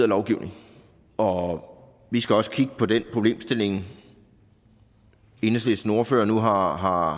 lovgivning og vi skal også kigge på den problemstilling enhedslistens ordfører nu har har